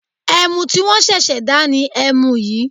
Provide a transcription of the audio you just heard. Ẹmu tí wọ́n ṣẹ̀ṣẹ̀ dá ni ẹmu yìí